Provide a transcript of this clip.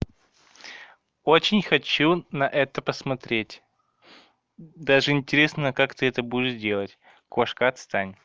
очень хочу на это посмотреть даже интересно как ты это будешь делать кошка отстань